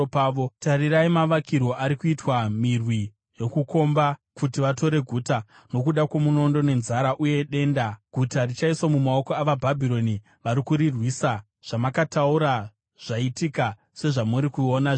“Tarirai mavakirwo ari kuitwa mirwi yokukomba kuti vatore guta. Nokuda kwomunondo, nenzara uye denda, guta richaiswa mumaoko avaBhabhironi vari kurirwisa. Zvamakataura zvaitika sezvamuri kuona zvino.